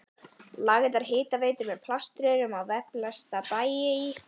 lagðar hitaveitur með plaströrum á velflesta bæi í